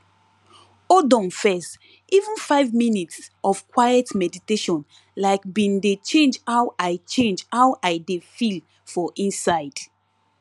hold on first even five minutes of quiet meditation like be dey change how i change how i dey feel for inside